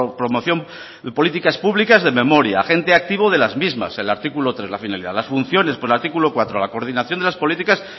promoción políticas públicas de memoria agente activo de las mismas el artículo tres la finalidad las funciones con el artículo cuatro la coordinación de las políticas